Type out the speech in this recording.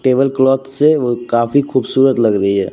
Table cloth से वो काफी खूबसूरत लग रही है।